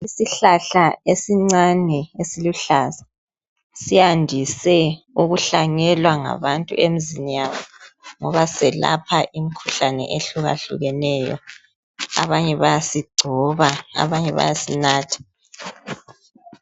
Isihlahla esincane esiluhlaza siyandise ukuhlanyelwa ngabantu emizini yabo ngoba selapha imikhuhlane ehlukahlukeneyo abanye bayasigcoba abanye bayasinatha.